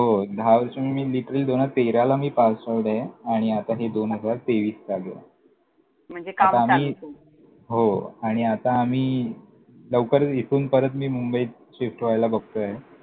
हो! दहा वर्ष म्हणजे मी literally दोन हजार तेराला मी pass out ए आणि आता हे दोन हजार तेवीस चालूए. म्हणजे काम चालू करून आता आम्ही, हो आणि आता आम्ही लवकरच इथून परत मी मुंबईत shift व्हायला बघतोय.